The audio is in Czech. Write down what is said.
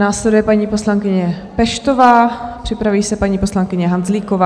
Následuje paní poslankyně Peštová, připraví se paní poslankyně Hanzlíková.